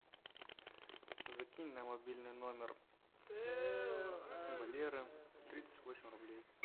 закинь на мобильный номер валеры тридцать восемь рублей